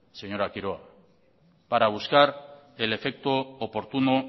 señora quiroga para buscar el efecto oportuno